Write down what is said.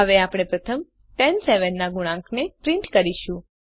હવે આપણે પ્રથમ 10 7 ના ગુણાંકને પ્રિન્ટ કરીશું